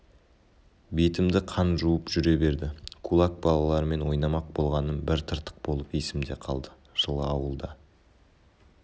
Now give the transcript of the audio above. бетімді қан жуып жүре берді кулак балаларымен ойнамақ болғаным бір тыртық болып есімде қалды жылы ауылда